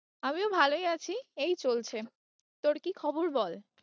আমিও ভালোই আছি এই চলছে, তোর কি খবর বল।